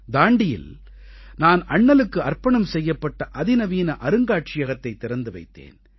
தாண்டீயில் நான் அண்ணலுக்கு அர்ப்பணம் செய்யப்பட்ட அதிநவீன அருங்காட்சியகத்தைத் திறந்து வைத்தேன்